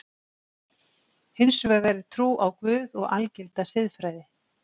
Hins vegar er trú á Guð og algilda siðfræði.